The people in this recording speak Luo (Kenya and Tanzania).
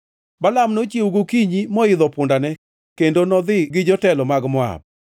Balaam nochiewo gokinyi, moidho pundane kendo nodhi gi jotelo mag Moab.